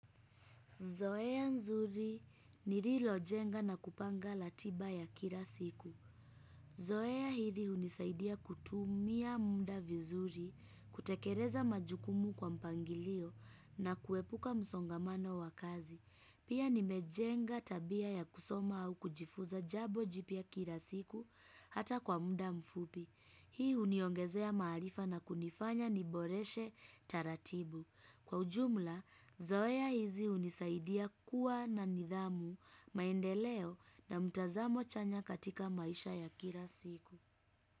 Zoea nzuri nililojenga na kupanga ratiba ya kila siku. Zoea hili hunisaidia kutumia muda vizuri, kutekeleza majukumu kwa mpangilio na kuepuka msongamano wa kazi. Pia nimejenga tabia ya kusoma au kujifuza jabo jipya kila siku hata kwa muda mfupi. Hii huniongezea maarifa na kunifanya ni boreshe taratibu. Kwa ujumla, zoea hizi hunisaidia kuwa na nidhamu maendeleo na mtazamo chanya katika maisha ya kila siku.